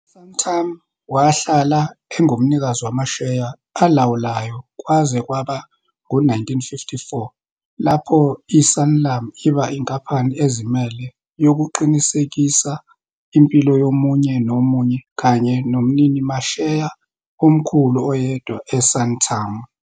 U-Santam wahlala engumnikazi wamasheya olawulayo kwaze kwaba ngu-1954 lapho i-Sanlam iba inkampani ezimele yokuqinisekisa impilo yomunye nomunye, kanye nomninimasheya omkhulu oyedwa e-Santam.